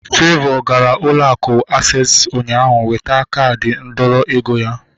Favour gara ụlọ akụ aksesị ụnyaahụ iweta kaadi ndọrọ ego ya